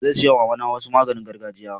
Zan saya wa mama na wasu maganin gargajia.